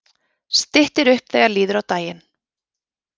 Styttir upp þegar líður á daginn